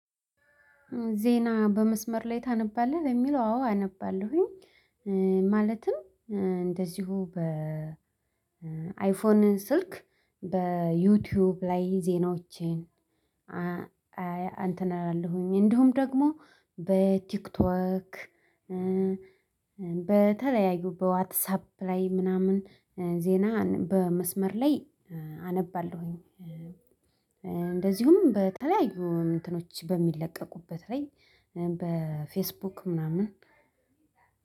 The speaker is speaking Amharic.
ዜና በመስመር ላይ ታነባለህ የሚለው አዎ አነባለሁኝ። ማለትም እንደዚሁ በ አይፎን ስልክ በዩቲዩብ ላይ ዜናዎቼን እንተን አላለሁኝ እንደውም ደግሞ በቲክቶክ በተለያዩ በዋትሳፕ ላይ ምናምን ዜና በመስመር ላይ አነባለሁኝ። እንደዚሁም በተለያዩ እንትኖች በሚለቀቁበት ላይ በፌስቡክ ምናምን።